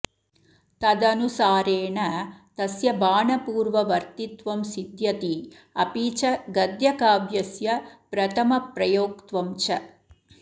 तदनुसारेण तस्य बाणपूर्ववर्तित्वं सिध्यति अपि च गद्यकाव्यस्य प्रथमप्रयोक्तत्वञ्च